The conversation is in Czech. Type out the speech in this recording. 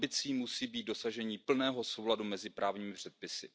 Ambicí musí být dosažení plného souladu mezi právními předpisy.